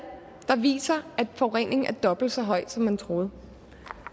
der viser at forureningen er dobbelt så høj som man troede